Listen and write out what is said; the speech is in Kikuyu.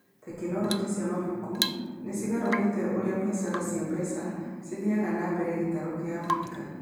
Tekinoronjĩ cia mabuku nĩ cigarũrĩte ũrĩa biacara cia mbeca cithiaga na mbere gĩtarũ kia Abirika.